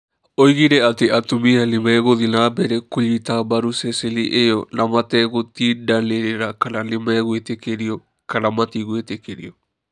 Oigire atĩ atumia nĩ megũthiĩ na mbere kũnyita mbaru ceceni ĩyo na mategũtindanĩrĩra kana nimegwĩtĩkĩrio kana matigwĩtĩkĩrio.